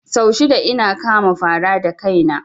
Sau shida ina kama fara da kaina